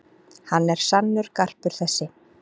Hann er sannur garpur þessi.